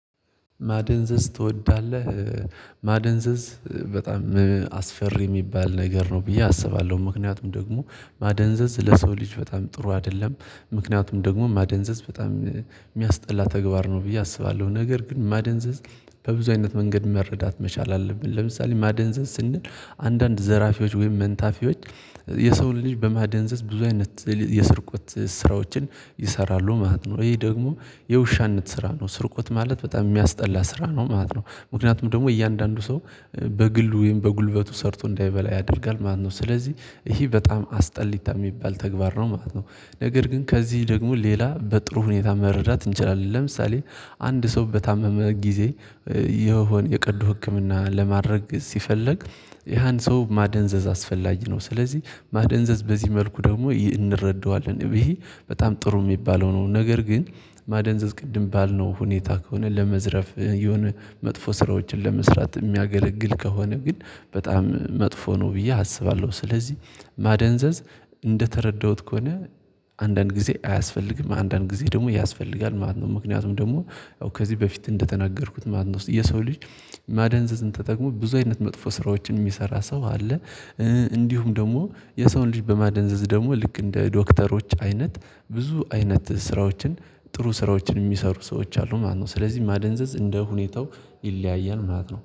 ማደንዘዝ ትወዳለህ? ማደንዘዝ በጣም አስፈሪ የሚባል ነገር ነው ብዬ አስባለሁ ምክንያቱም ደግሞ ማደንዘዝ ለሰው ልጅ በጣም ጥሩ አይደለም ምክንያቱም ደግሞ ማደንዘዝ በጣም የሚያስጠላ ተግባር ነው ብዬ አስባለሁ፤ ነገር ግን ማደንዘዝ በብዙ አይነት መንገድ መረዳት መቻል አለብን ለምሳሌ ማደንዘዝ ስንል አንዳንድ ዘራፊዎች ወይም መንታፊዎች የሰውን ልጅ በማደንዘዝ ብዙ አይነት የስርቆት ስራዎችን ይሰራሉ ማለት ነው፤ ይሄ ደግሞ የውሻነት ስራ ነው ስርቆት ማለት በጣም የሚያስጠላ ስራ ነው ማለት ነው ምክንያቱም ደግሞ እያንዳንዱ ሰው በግል ወይም በጉልበቱ ሰርቶ እንዳይበላ ያደርጋል ማለት ነው፤ ስለዚህ ይሄ በጣም አስጠሊታ የሚባል ተግባር ነው ማለት ነው፤ ነገር ግን ከዚህ ደግሞ ሌላ በጥሩ ሁኔታ መረዳት እንችላለን፣ ለምሳሌ አንድ ሰው በታመመ ጊዜ የሆነ የቀዶ ህክምና ለማድረግ ሲፈልግ ያን ሰው ማደንዘዝ አስፈላጊ ነው ስለዚህ ማደንዘዝ በዚህ መልኩ ደግሞ ይህ እንረዳዋለን ይሄ በጣም ጥሩ የሚባለው ነው፤ ነገር ግን ማደንዘዝ ቅድም ባልነው ሁኔታ ከሆነ ለመዝረፍ የሆነ መጥፎ ስራዎችን ለመስራት የሚያገለግል ከሆነ ግን በጣም መጥፎ ነው ብዬ አስባለሁ፤ ስለዚህ ማደንዘዝ እንደተረዳሁት ከሆነ አንዳንድ ጊዜ አያስፈልግም አንዳንድ ጊዜ ደግሞ ያስፈልጋል ማለት ነው ምክንያቱም ደግሞ ከዚህ በፊት እንደተናገርኩት ማለት ነው። የሰው ልጅ ማደንዘዝን ተጠቅሞ ብዙ አይነት መጥፎ ስራዎችን የሚሰራ ሰው አለ፣ እንዲሁም ደግሞ የሰውን ልጅ በማደንዘዝ ደግሞ ልክ እንደ ዶክተሮች አይነት ብዙ አይነት ስራዎችን፣ ጥሩ ስራዎችን የሚሰሩ ሰዎች አሉ ማለት ነው ስለዚህ ማደንዘዝ እንደ ሁኔታው ይለያያል ማለት ነው።